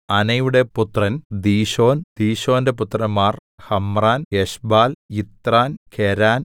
അനയുടെ പുത്രൻ ദീശോൻ ദീശോന്റെ പുത്രന്മാർ ഹമ്രാൻ എശ്ബാൽ യിത്രാൻ കെരാൻ